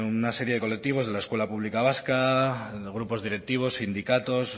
una serie de colectivos de la escuela pública vasca de grupos directivos sindicatos